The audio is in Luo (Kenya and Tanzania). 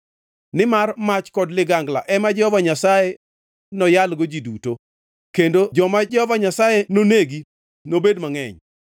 Nimar mach kod ligangla ema Jehova Nyasaye noyalgo ji duto, kendo joma Jehova Nyasaye nonegi nobed mangʼeny.